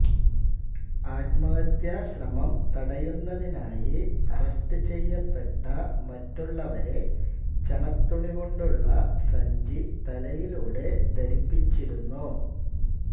ആത്മഹത്യാശ്രമം തടയുന്നതിനായി അറസ്റ്റ് ചെയ്യപ്പെട്ട മറ്റുള്ളവരെ ചണത്തുണികൊണ്ടുള്ള സഞ്ചി തലയിലൂടെ ധരിപ്പിച്ചിരുന്നു